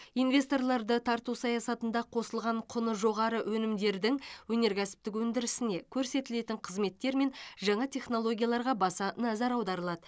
инвесторларды тарту саясатында қосылған құны жоғары өнімдердің өнеркәсіптік өндірісіне көрсетілетін қызметтер мен жаңа технологияларға баса назар аударылады